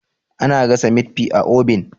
ana gasa mit fi a obin